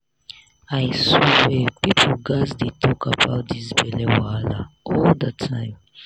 i swear people gats dey talk about this belle wahala all the time